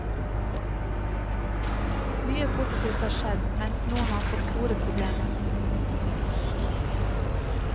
Mye positivt har skjedd, mens noen har fått store problemer.